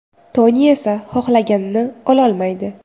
Toni esa xohlganini ololmaydi.